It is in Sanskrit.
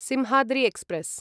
सिंहाद्रि एक्स्प्रेस्